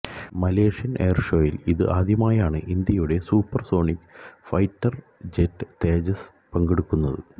Malaysian എയർഷോയിൽ ഇതു ആദ്യമായാണ് ഇന്ത്യയുടെ supersonic fighter jet Tejas പങ്കെടുക്കുന്നത്